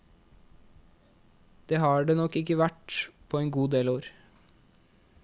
Det har det nok ikke vært på en god del år.